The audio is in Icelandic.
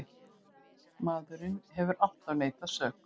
Maðurinn hefur alltaf neitað sök.